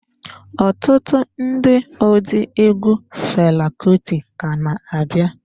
Ọtụtụ ndị ụdị egwu Fela Kuti ka na-abịa.